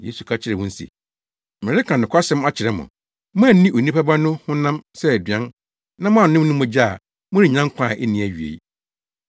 Yesu ka kyerɛɛ wɔn se, “Mereka nokwasɛm akyerɛ mo; moanni Onipa Ba no honam sɛ aduan na moannom ne mogya a, morennya nkwa a enni awiei.